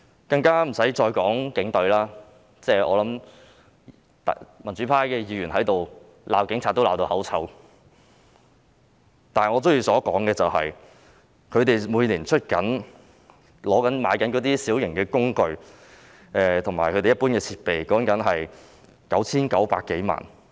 不用我再多說的就是警隊，民主派議員在這裏鬧警察已鬧到口臭，但我仍想談談他們每年購置小型工具和一般設備的款額，說的是 9,900 多萬元。